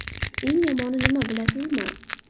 Eng yomoni nima bilasizmi?